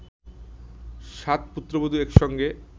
সাত পুত্রবধূ এক সঙ্গে